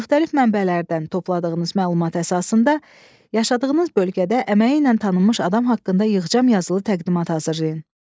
Müxtəlif mənbələrdən topladığınız məlumata əsasında yaşadığınız bölgədə əməyi ilə tanınmış adam haqqında yığcam yazılı təqdimat hazırlayın.